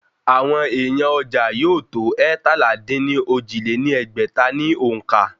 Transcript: Àwọn èèyàn ọjà yóò tó eétalá-dín-ní-ojì lé ní ẹgbẹ́ta ní òǹkà